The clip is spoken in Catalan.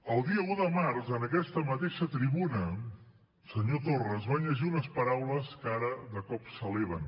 el dia un de març en aquesta mateixa tribuna senyor torra es van llegir unes paraules que ara de cop s’eleven